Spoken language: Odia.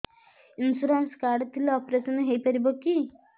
ଇନ୍ସୁରାନ୍ସ କାର୍ଡ ଥିଲେ ଅପେରସନ ହେଇପାରିବ କି